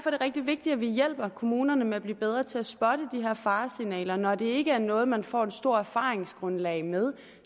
er det rigtig vigtigt at vi hjælper kommunerne med at blive bedre til at spotte de her faresignaler når det ikke er noget man får et stort erfaringsgrundlag med